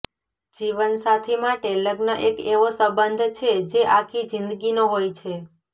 જીવન સાથી માટે લગ્ન એક એવો સબંધ છે જે આખી જિંદગી નો હોય છે